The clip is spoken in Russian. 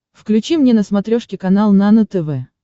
включи мне на смотрешке канал нано тв